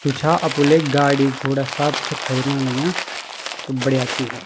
जू छा अपु ले गाड़ी घोड़ा सब छ खरीदना लग्यां त बढ़िया ची या।